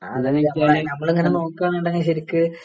അതാ ചോദിച്ച നമ്മളിങ്ങനെ നോക്കാണെന്നുണ്ടെങ്കിൽ ശരിക്ക്